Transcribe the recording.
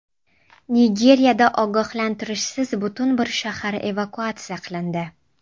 Nigeriyada ogohlantirishsiz butun bir shahar evakuatsiya qilindi.